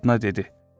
Arvadına dedi: